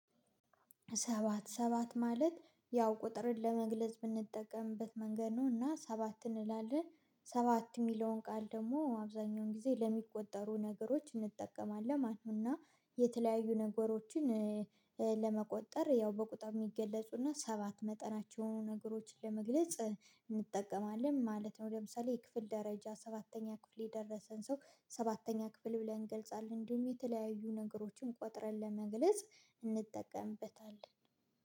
ሰባት ሰባት ማለት ያው ቁጥርን ለመግለጽ ምንጠቀምበት መንገድ ነውና ሰባት እንላለን። ሰባት የሚለውን ቃል ደግሞ አብዛኛውን ጊዜ ለሚቆጠሩ ነገሮች እንጠቀማለን ማለተ ነው። እና የተለያዩ ነገሮችን ለመቆጠር ያው በቁጥር የሚገለጹና ሰባት መጠናቸው የሆኑ ነገሮችን ለመግለጽ እንጠቀማለን ማለት ነው። ለምሳሌ የክፍል ደረጃ ሰባተኛ ክፍል የደረሰን ሰው ሰባተኛ ክፍል ብለን እንገልጻለን እንዲሁም የተለያዩ ነገሮችን ቆጥረን ለመግለጽ እንጠቀምበታለን